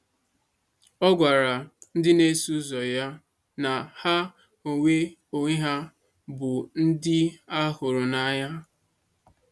Ọ gwakwara ndị na-eso ụzọ ya na ha onwe onwe ha bụ ndị a hụrụ n’anya.